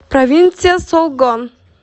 провинция солгон